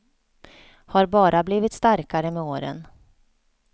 Har bara blivit starkare med åren.